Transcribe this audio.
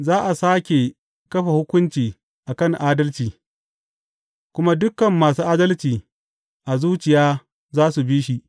Za a sāke kafa hukunci a kan adalci, kuma dukan masu adalci a zuciya za su bi shi.